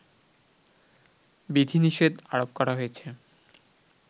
বিধিনিষেধ আরোপ করা হয়েছে